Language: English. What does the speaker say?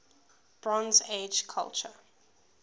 bronze age culture